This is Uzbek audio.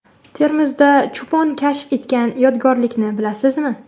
Termizda cho‘pon kashf etgan yodgorlikni bilasizmi?.